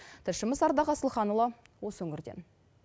тілшіміз ардақ асылханұлы осы өңірден